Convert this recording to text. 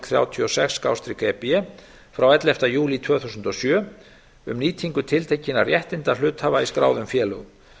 þrjátíu og sex e b frá elleftu júlí tvö þúsund og sjö um nýtingu tiltekinna réttinda hluthafa í skráðum félögum